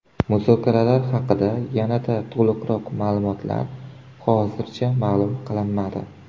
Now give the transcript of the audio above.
Muzokaralar haqidagi yanada to‘liqroq ma’lumotlar hozircha ma’lum qilinmadi.